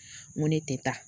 Ŋo ne te taa